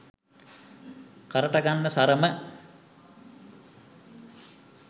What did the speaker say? කරට ගන්න සරම